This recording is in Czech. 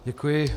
Děkuji.